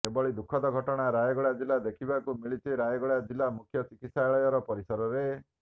ଏଭଳି ଦୁଃଖଦ ଘଟଣା ରାୟଗଡ଼ା ଜିଲ୍ଲା ଦେଖିବାକୁ ମିଳିଛି ରାୟଗଡା ଜିଲ୍ଲା ମୁଖ୍ୟ ଚିକିତ୍ସାଳୟ ପରିସରରେ